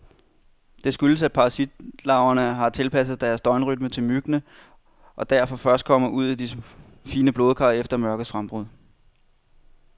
Det skyldes, at parasitlarverne har tilpasset deres døgnrytme til myggene, og derfor først kommer ud i de fine blodkar efter mørkets frembrud.